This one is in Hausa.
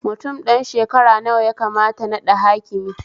Mutum ɗan shekara nawa yakamata naɗa hakimi?